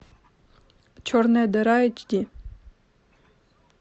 черная дыра эйч ди